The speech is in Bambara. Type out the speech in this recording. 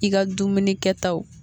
I ka dumuni kɛtaw